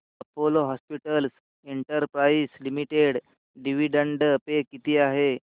Apollo hospitals enterprise limited dividend pay किती आहे